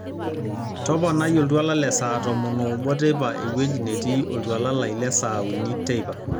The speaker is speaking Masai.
toponai oltuala le saa tomon oobo teipa ewueji netii oltuala lai le saa uni teipa